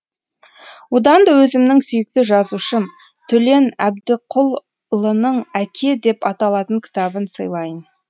одан да өзімнің сүйікті жазушым төлен әбдікұлының әке деп аталатын кітабын сыйлайын